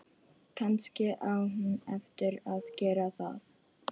Kannski á hún eftir að gera það.